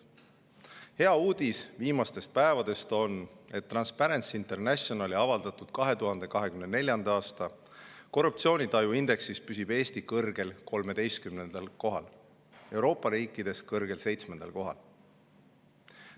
Hea uudis viimastest päevadest on, et Transparency Internationali avaldatud 2024. aasta korruptsioonitaju indeksis püsib Eesti kõrgel 13. kohal, Euroopa riikidest kõrgel 7. kohal.